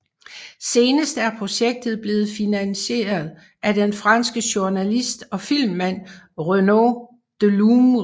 Senest er projektet blevet filmatiseret af den franske journalist og filmmand Renaud Delourme